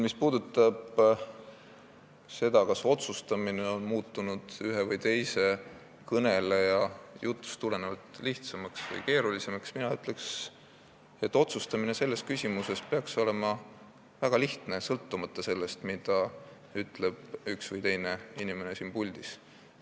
Mis puudutab seda küsimust, kas otsustamine on ühe või teise kõneleja jutust tulenevalt lihtsamaks või keerulisemaks muutunud, siis mina ütleks, et selles küsimuses peaks otsustamine olema väga lihtne, sõltumata sellest, mida üks või teine inimene siin puldis ütleb.